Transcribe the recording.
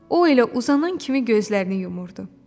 O elə uzanan kimi gözlərini yumurdu.